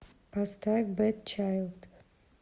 поставь бэд чайлд